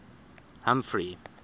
humphrey